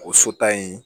O so ta in